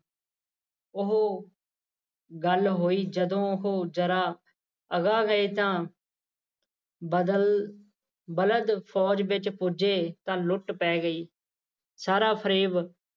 ਉਹੋ ਗੱਲ ਹੋਈ ਜਦੋਂ ਉਹ ਜ਼ਰਾ ਅਗਾਂਹ ਗਏ ਤਾਂ ਬਦਲ ਬਲਦ ਫ਼ੌਜ ਵਿੱਚ ਪੁੱਜੇ ਤਾਂ ਲੁੱਟ ਪੈ ਗਈ ਸਾਰਾ ਫਰੇਬ